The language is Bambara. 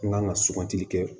N kan ka sugantili kɛ